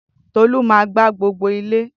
Tolu máa gbá gbogbo ilé